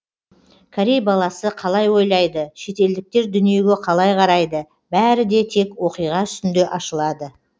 корей баласы қалай ойлайды шетелдіктер дүниеге қалай қарайды бәрі де тек оқиға үстінде ашылады